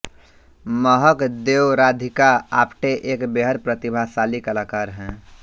महक देओ राधिका आप्टे एक बेहद प्रतिभाशाली कलाकार हैं